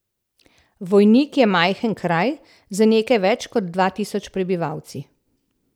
Vojnik je majhen kraj, z nekaj več kot dva tisoč prebivalci.